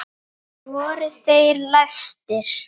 Voru þeir læstir.